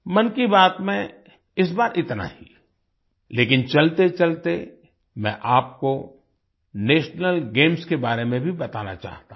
मन की बात में इस बार इतना ही लेकिन चलतेचलते मैं आपको नेशनल गेम्स के बारे में भी बताना चाहता हूँ